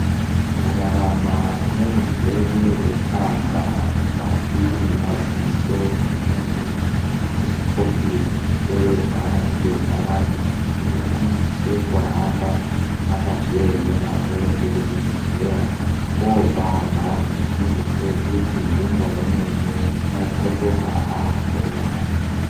Kurarama neurwere hwetsanga mukati mwemaziso emuntu akusikopi kupererwa ngendaramo. Muntu anosise kuhamba, akazviemera oende kuzvibhedhleya oparwa. Izvi zvinodetsera kuti ngenguwa imweni unokotoka aakutoona.